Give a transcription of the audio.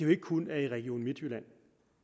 ikke kun er i region midtjylland